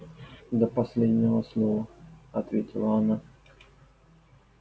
до последнего слова ответила она